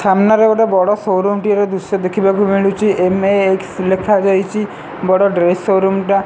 ସାମ୍ନା ରେ ଗୋଟେ ବଡ଼ ସୋରୁମ ଟିଏ ର ଦୃଶ୍ୟ ଦେଖି ବାକୁ ମିଳିଚି ଏମ_ଏ_କ୍ସ ଲେଖା ଯାଇଚି ବଡ଼ ଡ୍ରେସ ସୋରୁମ ଟା।